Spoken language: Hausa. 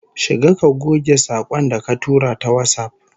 Shiga ka goge sakon da ka tura ta WhatsApp